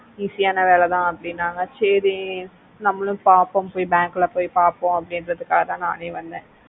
easy அனா வேலைதா அப்புடின்னாக சேரி நம்மளோ பாப்போம் பொய் bank ல பொய் பாப்போம் அப்புடின்னுகுறதுக்காகதா நானே வந்த